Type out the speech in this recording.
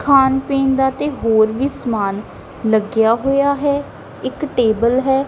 ਖਾਣ ਪੀਣ ਦਾ ਤੇ ਹੋਰ ਵੀ ਸਮਾਨ ਲੱਗੇਯਾ ਹੋਇਆ ਹੈ ਇੱਕ ਟੇਬਲ ਹੈ।